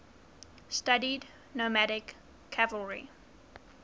studied nomadic cavalry